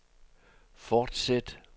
fortsæt